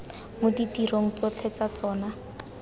mo ditirong tsotlhe tsa tsona